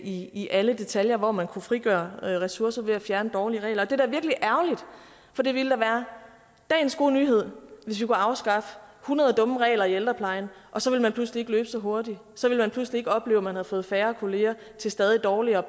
i i alle detaljer og man kunne frigøre ressourcer ved at fjerne dårlige regler det er virkelig ærgerligt for det ville da være dagens gode nyhed hvis vi kunne afskaffe hundrede dumme regler i ældreplejen og så ville man pludselig ikke løbe så hurtigt og så ville man pludselig ikke opleve at man havde fået færre kolleger til stadig dårlige